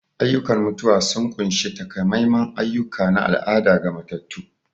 Ayyukan mutuwa sun ƙunshi takamaiman ayyuka na al'ada ga matattu.